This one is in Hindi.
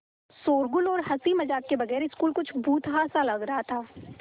शोरोगुल और हँसी मज़ाक के बगैर स्कूल कुछ भुतहा सा लग रहा था